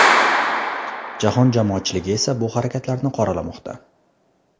Jahon jamoatchiligi esa bu harakatlarni qoralamoqda.